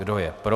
Kdo je pro.